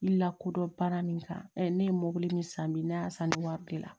I lakodɔn baara min kan ne ye mobili min san bi ne y'a san ne wari bila